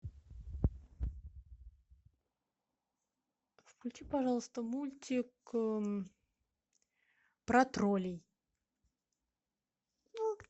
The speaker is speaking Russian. включи пожалуйста мультик про троллей